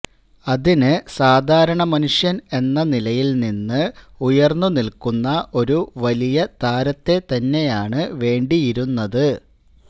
അതിന് സാധാരണ മനുഷ്യന് എന്ന നിലയില് നിന്ന് ഉയര്ന്നു നില്ക്കുന്ന ഒരു വലിയ താരത്തെ തന്നെയാണ് വേണ്ടിയിരുന്നത്